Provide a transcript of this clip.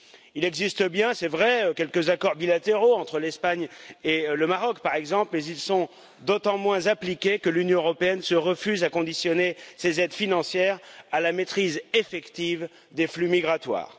Il existe bien, c'est vrai, quelques accords bilatéraux, entre l'Espagne et le Maroc, par exemple, mais ils sont d'autant moins appliqués que l'Union européenne se refuse à conditionner ses aides financières à la maîtrise effective des flux migratoires.